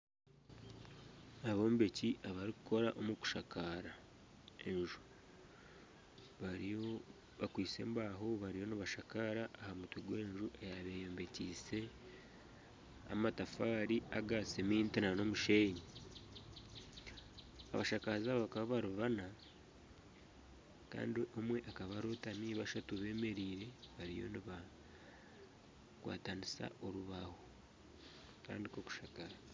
Abombeki abarikukora omu kushakaara enju bakwaitse embaaho bariyo nibashakaara aha mutwe gw'enju eyabaire eyombekyise amatafaari aga seminti na n'omushenyi, abashakazi aba abakaba bari bana kandi omwe akaba arotami bashatu bemereire bariyo nibakwatanisa orubaaho kutandiika kushakaara.